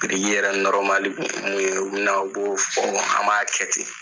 Biriki yɛrɛ kun ye mun ye, u bina, u b'o fɔ a m'a kɛ ten.